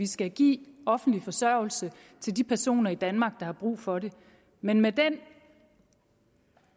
skal gives offentlig forsørgelse til de personer i danmark der har brug for det men med den